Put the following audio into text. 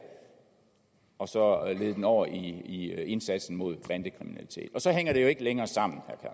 og så lede det over i indsatsen mod bandekriminalitet og så hænger det jo ikke længere sammen